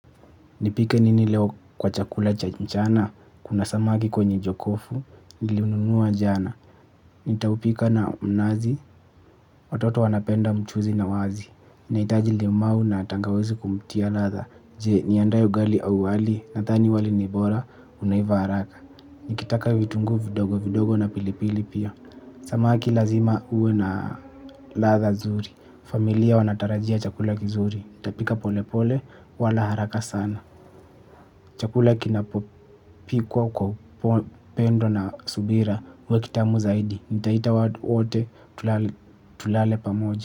Nipike nini leo kwa chakula cha mchana, kuna samaki kwenye jokofu, nilinunua jana. Nitaupika na mnazi, watoto wanapenda mchuzi na wazi. Nahitaji limau na tangawazi kumtia ladha, je niendee ugali au wali, nadhani wali nibora, unaiva haraka. Nikitaka vitungu vidogo vidogo na pilipili pia. Samaki lazima ue na ladha zuri, familia wanatarajia chakula kizuri, ntapika pole pole, wala haraka sana. Chakula kinapopikwa kwa upendo na subira huwa kitamu zaidi. Nitaita watu wote tulale pamoja.